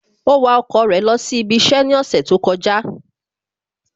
Ó wa ọkọ̀ rẹ̀ lọ sí ibi iṣẹ́ ní ọ̀sẹ̀ tó kọjá